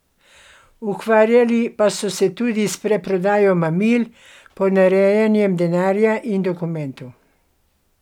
Ukvarjali pa so se tudi s preprodajo mamil, ponarejanjem denarja in dokumentov.